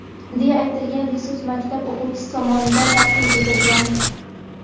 deya aytilgan resurs maktab o‘qituvchisi tomonidan taqdim etilgan.